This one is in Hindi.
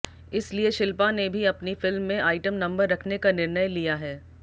इसलिए शिल्पा ने भी अपनी फिल्म में आइटम नंबर रखने का निर्णय लिया है